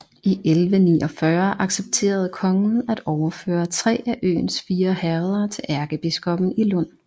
I 1149 accepterede kongen at overføre tre af øens fire herreder til ærkebiskoppen i Lund